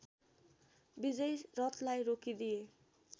विजयी रथलाई रोकिदिए